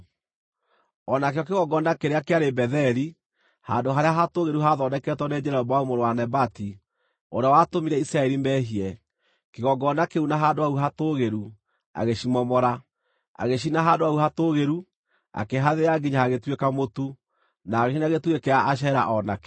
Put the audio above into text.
O nakĩo kĩgongona kĩrĩa kĩarĩ Betheli, handũ harĩa hatũũgĩru haathondeketwo nĩ Jeroboamu mũrũ wa Nebati, ũrĩa watũmire Isiraeli meehie, kĩgongona kĩu na handũ hau hatũũgĩru, agĩcimomora. Agĩcina handũ hau hatũũgĩru, akĩhathĩa nginya hagĩtuĩka mũtu, na agĩcina gĩtugĩ kĩa Ashera o nakĩo.